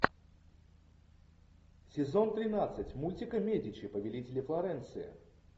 сезон тринадцать мультика медичи повелители флоренции